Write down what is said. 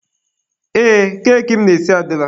Ee, keki m na-esi adịla.